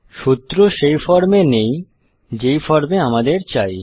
সূত্র সেই ফর্মে নেই যে ফর্ম এ আমাদের চাই